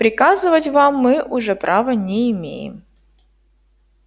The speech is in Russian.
приказывать вам мы уже права не имеем